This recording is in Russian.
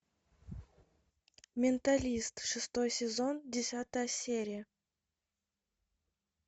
менталист шестой сезон десятая серия